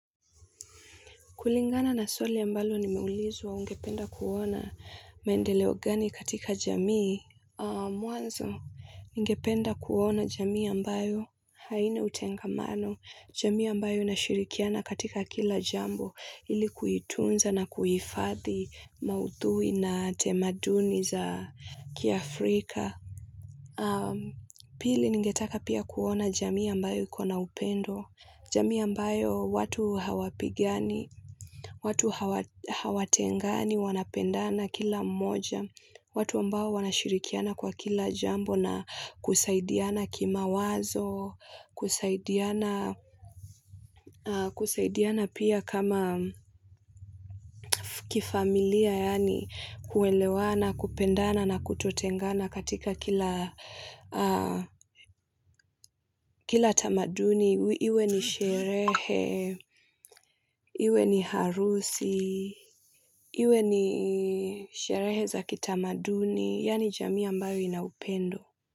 Kulingana na swali ambalo nimeulizwa ungependa kuona maendeleo gani katika jamii Mwanzo, ningependa kuona jamii ambayo haini utengamano, jamii ambayo inashirikiana katika kila jambo, ili kuituunza na kuihifadhi maudhui na tamaduni za kiafrika. Ningetaka pia kuona jamii ambayo iko na upendo, jamii ambayo watu hawapigani hawatengani, wanapendana kila mmoja, watu ambao wanashirikiana kwa kila jambo na kusaidiana kimawazo, kusaidiana pia kama kifamilia, kuelewana, kupendana, na kutotengana katika kila kila tamaduni, iwe ni sherehe, iwe ni harusi, iwe ni sherehe za kitamaduni, yaani jamii ambayo ina upendo.